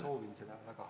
Ma soovin seda väga.